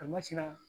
A ma sera